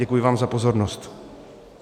Děkuji vám za pozornost.